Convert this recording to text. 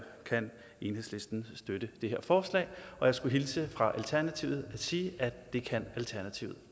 enhedslisten støtte det her forslag og jeg skulle hilse fra alternativet og sige at det kan alternativet